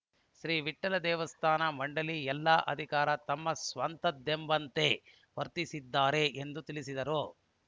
ಶ್ರೀ ವಿಠ್ಠಲ ದೇವಸ್ಥಾನ ಮಂಡಳಿ ಎಲ್ಲಾ ಅಧಿಕಾರ ತಮ್ಮ ಸ್ವಂತದ್ದೆಂಬಂತೆ ವರ್ತಿಸುತ್ತಿದ್ದಾರೆ ಎಂದು ತಿಳಿಸಿದರು